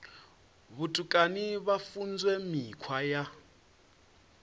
vhutukani vha funzwa mikhwa ya